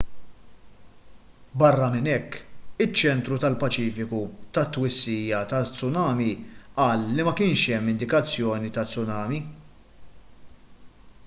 barra minn hekk iċ-ċentru tal-paċifiku tat-twissija taz-tsumani qal li ma kienx hemm indikazzjoni ta' tsunami